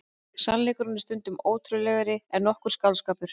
Sannleikurinn er stundum ótrúlegri en nokkur skáldskapur.